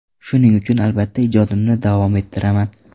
Shuning uchun albatta ijodimni davom ettiraman.